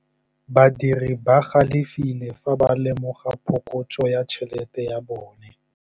Badiri ba galefile fa ba lemoga phokotsô ya tšhelête ya bone.